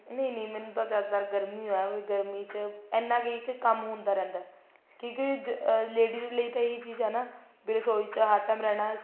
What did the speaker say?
ਨਹੀਂ ਨਹੀਂ ਮੈਨੂੰ ਤਾਂ ਜਿਆਦਾ ਤਰ ਗਰਮੀ ਹੀ ਹੈ ਵੀ ਜਿਆਦਾਤਰ ਗਰਮੀ ਚ ਇੰਨਾ ਕਿ ਕੰਮ ਹੁੰਦਾ ਰਹਿੰਦਾ ਕਿਉਂਕਿ ladies ਲਈ ਤਾਂ ਇਹੀ ਚੀਜ਼ ਹੈ ਨਾ ਵੀ ਰਸੋਈ ਚ ਹਰ time ਰਹਿਣਾ